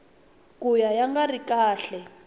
ka ya nga ri kahle